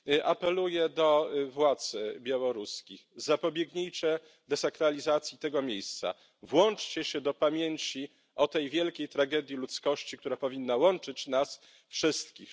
Apeluję do władz białoruskich zapobiegnijcie desakralizacji tego miejsca, włączcie się do kultywowania pamięci o tej wielkiej tragedii ludzkości, która powinna łączyć nas wszystkich.